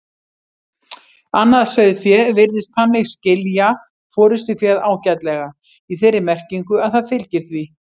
Annað sauðfé virðist þannig skilja forystuféð ágætlega, í þeirri merkingu að það fylgir því.